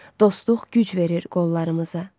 Dostluq güc verir qollarımıza.